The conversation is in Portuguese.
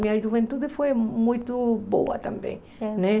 Minha juventude foi muito boa também, né?